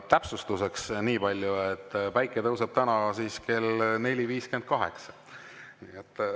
Täpsustuseks niipalju, et päike tõuseb täna kell 4.58.